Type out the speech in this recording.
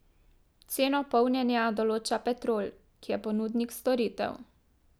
Ceno polnjenja določa Petrol, ki je ponudnik storitev.